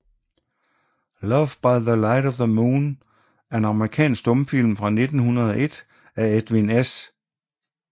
Love by the Light of the Moon er en amerikansk stumfilm fra 1901 af Edwin S